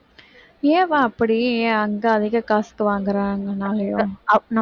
ஏவாம் அப்படி அங்க அதிக காசுக்கு வாங்குறாங்கனாலயா